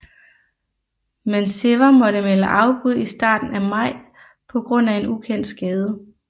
Men Siver måtte melde afbud i starten af maj på grund af en ukendt skade